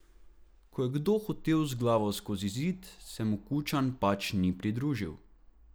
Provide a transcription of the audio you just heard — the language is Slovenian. Ko je kdo hotel z glavo skozi zid, se mu Kučan pač ni pridružil.